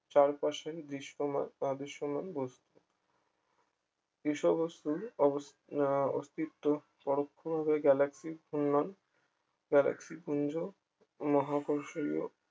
চারপাশের দৃশ্যমান বা দৃশ্যমান বস্তু কৃষ্ণ বস্তুর অবস্থ আহ অস্তিত্ব পরোক্ষভাবে galaxy এর ঘূর্ণন galaxy পুঞ্জ মহাকর্ষীয়